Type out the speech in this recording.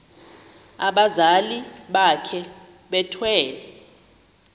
abazali bakhe bethwele